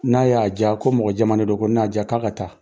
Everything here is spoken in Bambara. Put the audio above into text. N'a y'a ja ko mɔgɔjɛman de don, ko n'a y'a ja k'a ka taa.